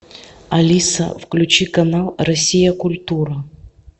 алиса включи канал россия культура